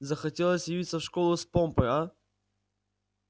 захотелось явиться в школу с помпой аа